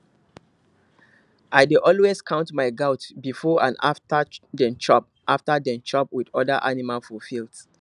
i dey always count my goat before and after dem chop after dem chop with other animal for field